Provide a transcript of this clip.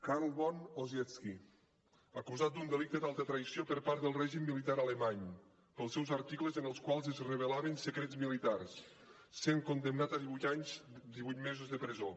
carl von ossietzky acusat d’un delicte d’altra traïció per part del règim militar alemany pels seus articles en els quals es revelaven secrets militars va ser condemnat a divuit anys divuit mesos de presó